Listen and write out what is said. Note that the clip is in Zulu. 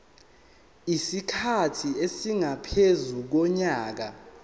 isikhathi esingaphezu konyaka